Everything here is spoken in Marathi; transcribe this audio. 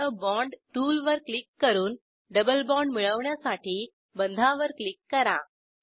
एड आ बॉण्ड टूलवर क्लिक करून डबल बाँड मिळवण्यासाठी बंधावर क्लिक करा